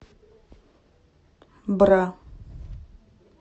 бра